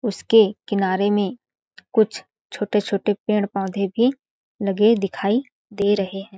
उसके किनारे में कुछ छोटे-छोटे पेड़ पोधे भी लगे दिखाई दे रहे हैं।